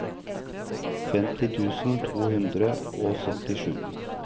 femti tusen to hundre og syttisju